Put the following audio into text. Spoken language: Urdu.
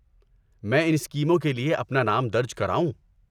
میں ان اسکیموں کے لیے اپنا نام درج کراؤں؟